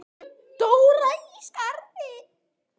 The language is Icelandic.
Dóra í Skarði.